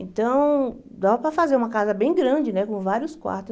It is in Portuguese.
Então, dava para fazer uma casa bem grande, né com vários quartos.